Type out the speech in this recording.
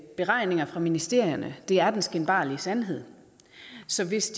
beregninger fra ministerierne er den skinbarlige sandhed så hvis